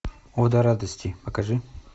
ода радости покажи